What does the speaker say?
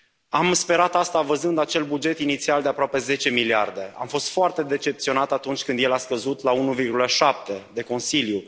Am sperat asta văzând acel buget inițial de aproape 10 miliarde, am fost foarte decepționat atunci când el a fost scăzut la 1,7 de Consiliu.